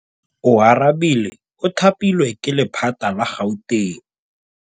Oarabile o thapilwe ke lephata la Gauteng.